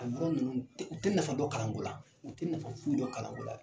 A yɔrɔ ninnu u tɛ nafa dɔn kalanko la u tɛ nafa foyi dɔn kalanko la.